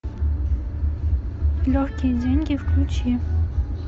легкие деньги включи